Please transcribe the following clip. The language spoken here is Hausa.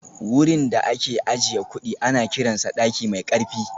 Wurin da ake ajiye kudi ana kiransa daki mai karfi